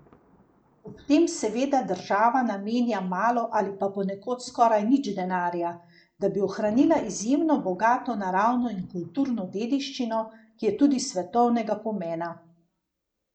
Ob tem seveda država namenja malo ali pa ponekod skoraj nič denarja, da bi ohranila izjemno bogato naravno in kulturno dediščino, ki je tudi svetovnega pomena.